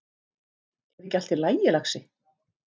Er ekki allt í lagi, lagsi?